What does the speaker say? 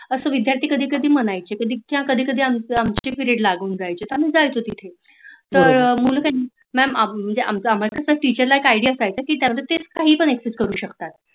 अस विद्यार्थी कधी कधी म्हणायचे कधी कधी आमच पिरीयड लागून जायचं आम्ही जायचो तिथे आमच अमाला Teacher ला एक idea असायचा काही पण करू access शकतात